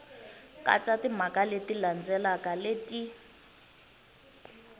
katsa timhaka leti landzelaka leti